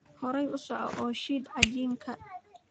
Horey u soco oo shiid cajiinka.